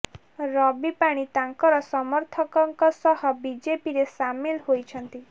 ରବି ପାଣି ତାଙ୍କର ସମର୍ଥକଙ୍କ ସହ ବିଜେପିରେ ସାମିଲ ହୋଇଛନ୍ତି